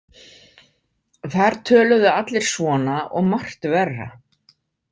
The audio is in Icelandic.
Þar töluðu allir svona og margt verra.